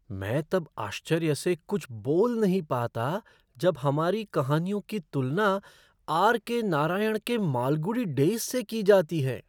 मैं तब आश्चर्य से कुछ बोल नहीं पाता जब हमारी कहानियों की तुलना आर.के. नारायण के मालगुडी डेज़ से की जाती है!